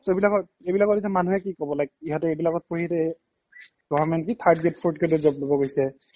চৌবিলাকত এইবিলাকত এতিয়া মানুহে কি ক'ব like ইহতে এইবিলাকত পঢ়ি এতিয়া এ government কি third grade fourth grade তত job ল'ব গৈছে